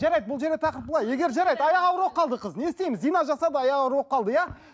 жарайды бұл жерде тақырып былай егер жарайды аяғы ауыр болып қалды қыз не істейміз зина жасап аяғы ауыр болып қалды иә